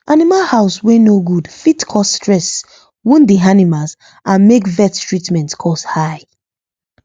animal house wey no good fit cause stress wound the animals and make vet treatment cost high